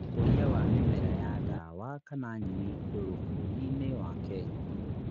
Ũkũria wa mĩmera ya ndawa kana nyeni ndũrũ bũrũri-inĩ wa Kenya